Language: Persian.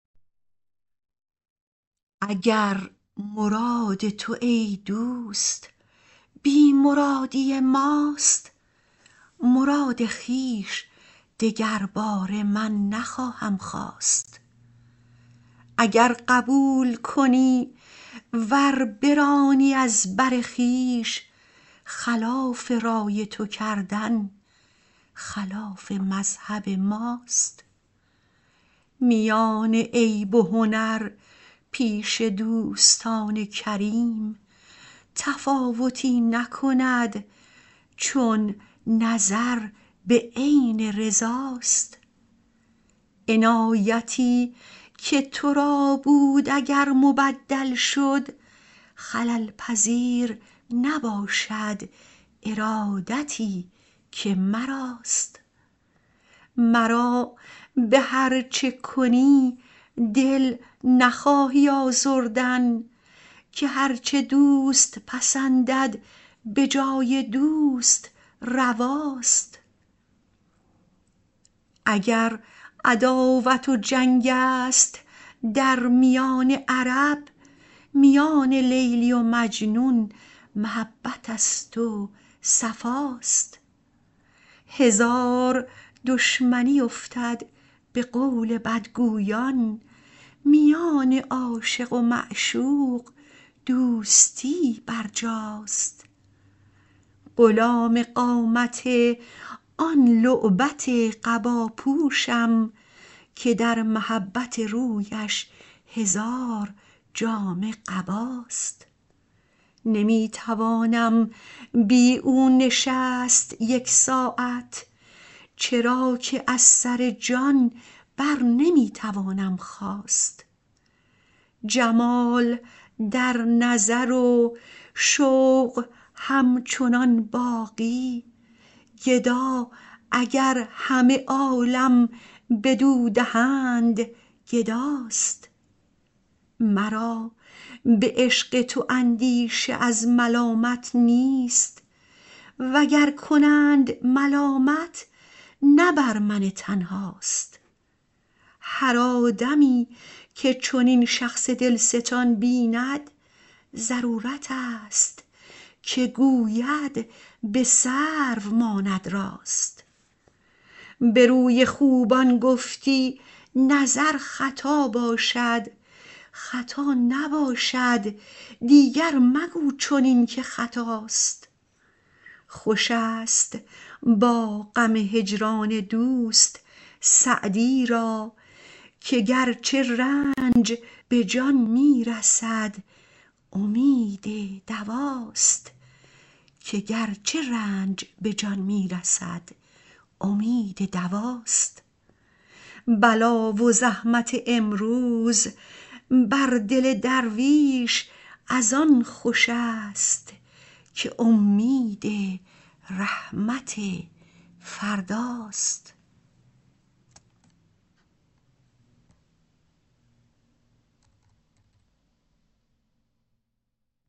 اگر مراد تو ای دوست بی مرادی ماست مراد خویش دگرباره من نخواهم خواست اگر قبول کنی ور برانی از بر خویش خلاف رای تو کردن خلاف مذهب ماست میان عیب و هنر پیش دوستان کریم تفاوتی نکند چون نظر به عین رضا ست عنایتی که تو را بود اگر مبدل شد خلل پذیر نباشد ارادتی که مراست مرا به هر چه کنی دل نخواهی آزردن که هر چه دوست پسندد به جای دوست روا ست اگر عداوت و جنگ است در میان عرب میان لیلی و مجنون محبت است و صفا ست هزار دشمنی افتد به قول بدگویان میان عاشق و معشوق دوستی برجاست غلام قامت آن لعبت قبا پوشم که در محبت رویش هزار جامه قباست نمی توانم بی او نشست یک ساعت چرا که از سر جان بر نمی توانم خاست جمال در نظر و شوق همچنان باقی گدا اگر همه عالم بدو دهند گدا ست مرا به عشق تو اندیشه از ملامت نیست و گر کنند ملامت نه بر من تنها ست هر آدمی که چنین شخص دل ستان بیند ضرورت است که گوید به سرو ماند راست به روی خوبان گفتی نظر خطا باشد خطا نباشد دیگر مگو چنین که خطاست خوش است با غم هجران دوست سعدی را که گرچه رنج به جان می رسد امید دوا ست بلا و زحمت امروز بر دل درویش از آن خوش است که امید رحمت فردا ست